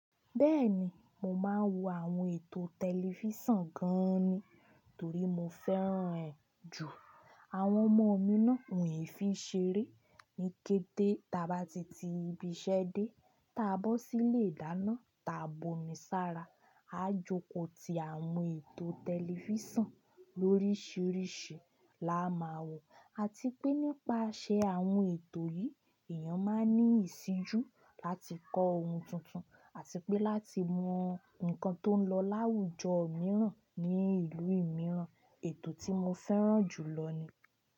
Bẹ́ẹ̀ni, mo máa ń wo àwọn ètò tẹlifísàn gan ni, torí mo fẹ́ràn ẹ́ jù. Àwọn ọmọ mi náà, won e fi ṣeré ní kété táa bá ti ti ibiṣẹ́ dé. Táa bọ́ sílé ìdáná, táa bu omi sára, a jókòó ti àwọn ètò tẹlifísàn lórísìírísìí la máa wò. Àti pé nípasẹ̀ àwọn ètò yìí, èèyàn máa ní ìṣíjú láti kọ́ ohun tuntun àti pé láti mọ nǹkan tó ń lọ láwùjọ mìíràn ní ìlú mìíràn. Ètò tí mo fẹ́ràn jù lọ ni.